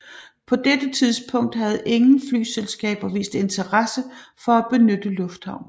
På dette tidspunkt havde ingen flyselskaber vist interesse for at benytte lufthavnen